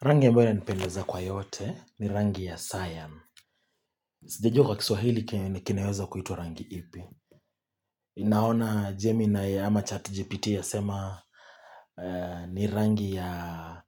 Rangi ambayo inanipendeza kwa yote ni rangi ya Sion. Sijijua kwa kiswahili kineweza kuitwa rangi ipi. Naona Jeminai ama chat GPT yasema ni rangi ya